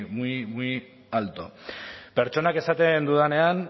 muy muy alto pertsonak esaten dudanean